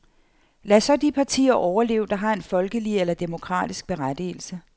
Lad så de partier overleve, der har en folkelig eller demokratisk berettigelse.